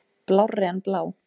Blárri en blá.